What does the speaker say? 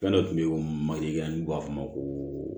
Fɛn dɔ kun bɛ ye o maliyirigɛn n'u b'a f'a ma ko